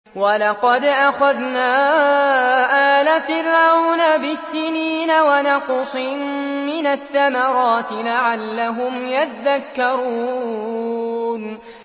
وَلَقَدْ أَخَذْنَا آلَ فِرْعَوْنَ بِالسِّنِينَ وَنَقْصٍ مِّنَ الثَّمَرَاتِ لَعَلَّهُمْ يَذَّكَّرُونَ